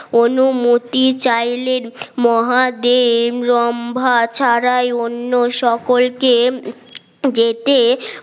অনুমতি চাইল্ড মহাদেব লম্বা ছাড়াই অন্য সকলকে যেতে